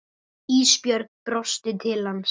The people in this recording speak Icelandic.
Ísbjörg brosti til hans.